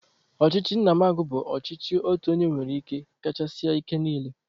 Ọchịchị nnamagụ bụ ọchịchị otu onye nwere ike kachasị ike niile.